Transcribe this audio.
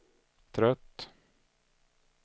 trött